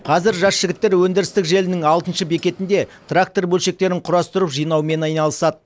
қазір жас жігіттер өндірістік желінің алтыншы бекетінде трактор бөлшектерін құрастырып жинаумен айналысады